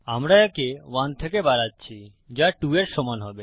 আমরা একে 1 থেকে বাড়াচ্ছি যা 2 এর সমান হবে